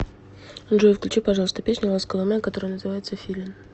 джой включи пожалуйста песню ласковый май которая называется филин